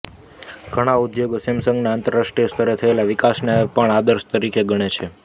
ઘણા ઉદ્યોગો સેમસંગના આંતરાષ્ટ્રીય સ્તરે થયેલા વિકાસને આદર્શ તરીકે ગણે છે